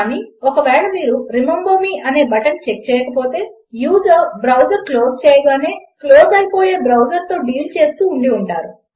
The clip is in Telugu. కానీ ఒకవేళ మీరు రిమెంబర్ మే అనే బటన్ చెక్ చేయకపోతే యూజర్ బ్రౌజర్ క్లోజ్ చేయగానే క్లోజ్ అయిపోయే బ్రౌజర్తో డీల్ చేస్తూ ఉండి ఉంటారు